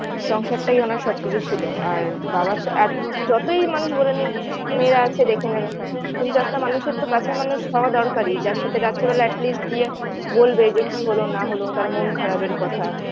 সংসারটাই ওনার সব কিছু ছিলো আর বাবার সাথ এত যতই মানুষ বলেনিক মেয়েরা আছে দেখে নেবে কিন্তু একটা মানুষের তো কাছের মানুষ হওয়া দরকারি যার সাথে রাত্রে atleast গিয়ে বলবে কি হলো না হলো তার মন খারাপের কথা